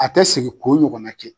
A tɛ sigi ko ɲɔgɔnna kɛ.